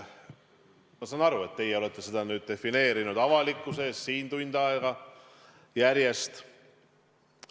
Ma saan aru, et teie olete seda nüüd defineerinud avalikkuse ees siin juba tund aega järjest.